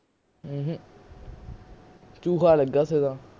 ਊਂਹੂੰ ਲਗਿਆ ਸੀਗਾ